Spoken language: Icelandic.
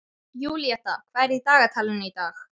Júlíetta, hvað er í dagatalinu í dag?